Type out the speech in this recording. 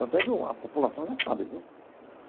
Tanto é que a população já sabe, viu?